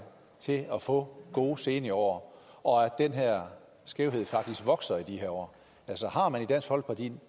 til at få gode seniorår og at den her skævhed faktisk vokser i de her år altså har man i dansk folkeparti